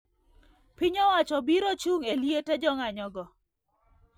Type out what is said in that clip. Piny owacho biro chung e liete jong`anyo go